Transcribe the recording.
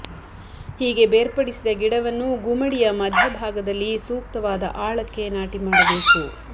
ಹೀಗೆ ಬೇರ್ಪಡಿಸಿದ ಗಿಡವನ್ನು ಗುಮಡಿಯ ಮಧ್ಯ ಭಾಗದಲ್ಲಿ ಸೂಕ್ತವಾದ ಆಳಕ್ಕೆ ನಾಟಿ ಮಾಡಬೇಕು